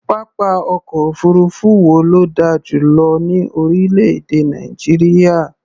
Pápá ọ̀kọ̀ òfuurufú wo ló dà jù lọ ní orílẹ̀-èdè Nàìjíríà?